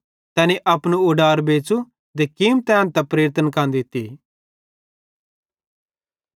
तैनी अपनू उडार बेच़ू ते कीमत एन्तां प्रेरितन दित्ती